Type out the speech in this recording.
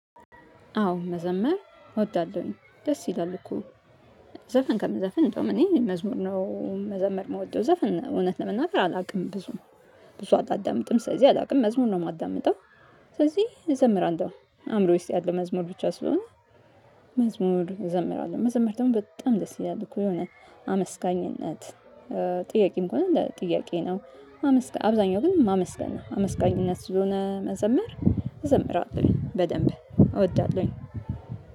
አዎ መዘመር እወዳለሁኝ ደስ ይላል እኮ ዘፈን ከምዘፍን እንደውም እኔ መዝሙር ነው መዘመር ምወደው ዘፍን እውነት ለመናገር አላውቅም ብዙም ብዙ አላዳምጥም ስለዚህ አላውቅም መዝሙር ነው የማዳምጠው። ስለዚህ እዘምራለሁ አእምሮ ውስጥ ያለ መዝሙር ብቻ ስለሆነ። መዝሙር እዘምራለሁ መዘመር ደግሞ በጣም ደስ ይላል እኮ የሆነ አመስጋኝነት። ጥያቄም ከሆነ ለጥያቄ ነው አመስጋኝ አብዛኛው ግን ማመስገን ነው አመስጋኝነት ስለሆነ መዘምር እዘምራለሁኝ በደንብ እወዳለሁኝ